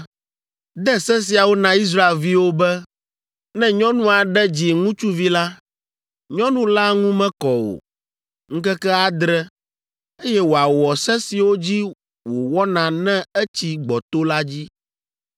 “De se siawo na Israelviwo be, ‘Ne nyɔnu aɖe dzi ŋutsuvi la, nyɔnu la ŋu mekɔ o, ŋkeke adre, eye wòawɔ se siwo dzi wòwɔna ne etsi gbɔto la dzi.